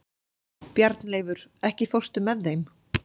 Bjarnleifur, ekki fórstu með þeim?